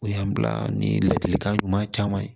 O y'an bila ni ladilikan ɲuman caman ye